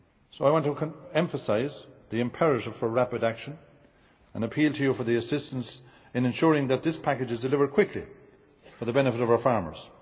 I want to emphasise the imperative need for rapid action and appeal to Members for assistance in ensuring that this package is delivered quickly for the benefit of our farmers.